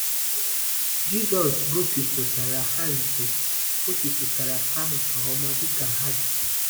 Jisọs gosipụtara ha nke gosipụtara ha nke ọma dịka ha dị!